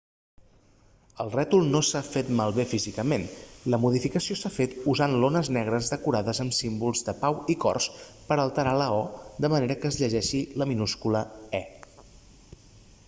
el rètol no s'ha fet malbé físicament la modificació s'ha fet usant lones negres decorades amb símbols de pau i cors per a alterar la o de manera que es llegeixi la minúscula e